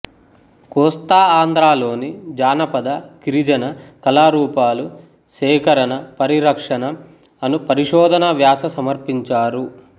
కోస్తా ఆంధ్రాలోని జానపద గిరిజన కళారూపాలు సేకరణ పరిరక్షణ అను పరిశోధన వ్యాస సమర్పించారు